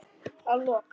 Að lok